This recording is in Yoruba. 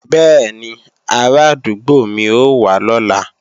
Bẹ́ẹ̀ni, arádúgbò mi ó wá lọ́la